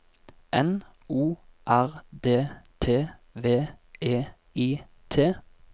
N O R D T V E I T